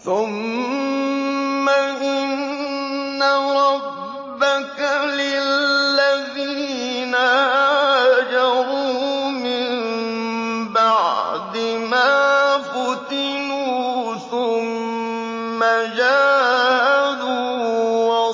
ثُمَّ إِنَّ رَبَّكَ لِلَّذِينَ هَاجَرُوا مِن بَعْدِ مَا فُتِنُوا ثُمَّ جَاهَدُوا